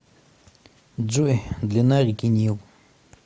джой длина реки нил